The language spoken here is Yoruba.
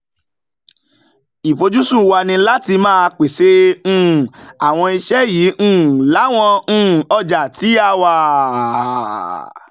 ìfojúsùn wa ni láti máa pèsè um àwọn iṣẹ́ yìí um láwọn um ọjà tí a wà.